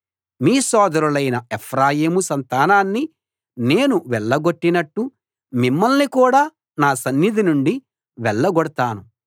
మీ సోదరులైన ఎఫ్రాయిము సంతానాన్ని నేను వెళ్లగొట్టినట్టు మిమ్మల్ని కూడా నా సన్నిధి నుండి వెళ్లగొడతాను